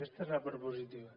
aquesta és la part positiva